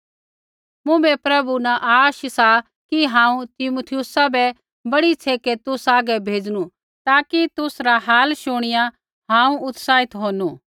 मुँभै प्रभु यीशु न आश सा कि हांऊँ तीमुथियुसा बै बड़ी छ़ेकै तुसा हागै भेजणु ताकि तुसरा हाल शुणिया हांऊँ उत्साहित होनू